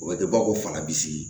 O bɛ kɛ bakɔ fanga bi sigi